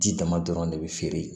Ji dama dɔrɔn de be feere